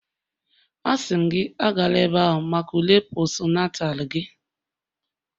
Asị m gị, Agala ebe ahụ maka ule postnatal gị